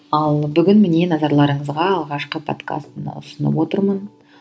ал бүгін міне назарларыңызға алғашқы подкасын ұсынып отырмын